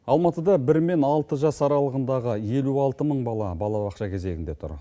алматыда бір мен алты жас аралығындағы елу алты мың бала балабақша кезегінде тұр